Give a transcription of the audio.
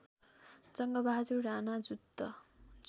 Jangbahadur Rana Juddha